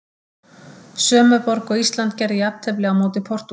Sömu borg og Ísland gerði jafntefli á móti Portúgal.